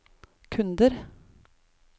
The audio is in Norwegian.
kunder